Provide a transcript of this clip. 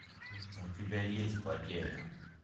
у тебя есть потеря